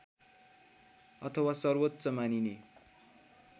अथवा सर्वोच्च मानिने